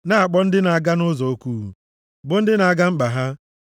na-akpọ ndị na-aga nʼụzọ oku, bụ ndị na-aga mkpa ha,